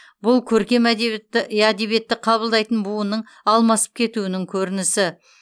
бұл көркем әдебиетті әдебиетті қабылдайтын буынның алмасып кетуінің көрінісі